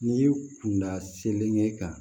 N'i kun da selen ye ka